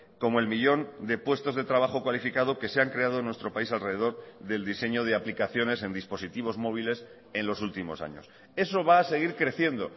como el millón de puestos de trabajo cualificado que se han creado en nuestro país alrededor del diseño de aplicaciones en dispositivos móviles en los últimos años eso va a seguir creciendo